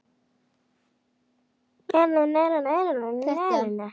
Örn virti fyrir sér gömlu gróðrarstöðina.